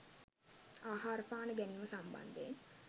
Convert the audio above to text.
ආහාර පාන ගැනීම සම්බන්ධයෙන්